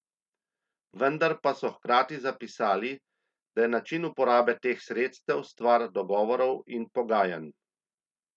Vendar pa so hkrati zapisali, da je način uporabe teh sredstev stvar dogovorov in pogajanj.